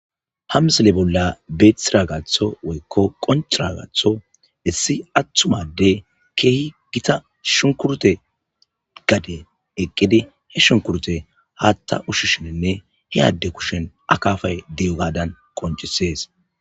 Ha misile bolla betidagatho woyko qoncidagathon issi atuma adeyi Keehi Gita shunkurte gaden eqidi he ahh kure hata ushishnine he Ade kusheni akafayi diyogadani qoncisesi.